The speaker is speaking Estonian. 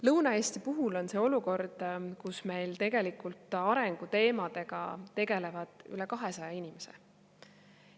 Lõuna-Eesti puhul on see olukord, kus meil tegelikult arengu teemadega tegeleb üle 200 inimese.